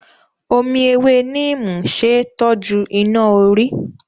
Omi ewé Neem ṣe é tọ́jú iná-orí.